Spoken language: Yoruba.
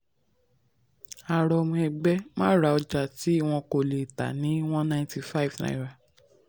a rọ ọmọ ẹgbẹ́ má ra ọjà tí wọn kò lè tà ní one ninety-five naira